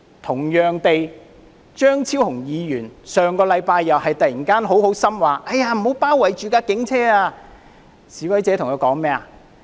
同樣地，張超雄議員上星期又突發善心說不要包圍警車，示威者對他說"走吧！